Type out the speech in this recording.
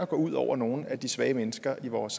går ud over nogle af de svage mennesker i vores